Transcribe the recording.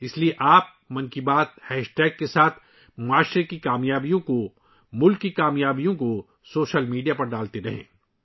اس لیے 'Mann ki Baat ' hashtag کے ساتھ سماج اور ملک کی کامیابیوں کو سوشل میڈیا پر پوسٹ کرتے رہیں